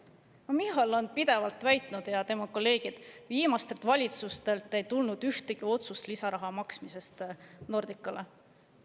Michal ja tema kolleegid on pidevalt väitnud, et viimastelt valitsustelt ei tulnud ühtegi otsust lisaraha maksmise kohta Nordicale.